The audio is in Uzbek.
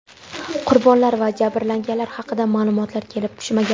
Qurbonlar va jabrlanganlar haqida ma’lumotlar kelib tushmagan.